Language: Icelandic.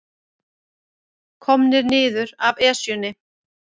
Komnir niður af Esjunni